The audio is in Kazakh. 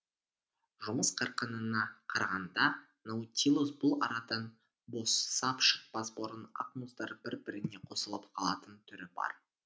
жұмыс қарқынына қарағанда наутилус бұл арадан босап шықпас бұрын ақ мұздар бір біріне қосылып қалатын түрі бар